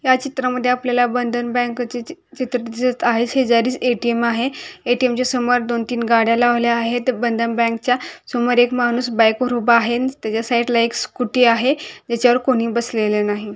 या चित्रामध्ये आपल्याला बंधन बैंकचे चि चित्र दिसत आहे शेजारीच ए.टी.एम आहे ए.टी.एम च्या समोर दोन-तीन गाड्या लावल्या आहेत बंधन बैंक च्या समोर एक माणूस बाइक वर उभा आहे अन त्याच्या साइड ला एक स्कूटी आहे तेच्यावर कोणी बसलेले नाही.